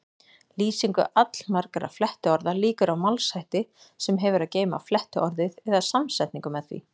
Lýsingu allmargra flettiorða lýkur á málshætti sem hefur að geyma flettiorðið eða samsetningu með því.